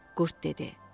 Qurd dedi.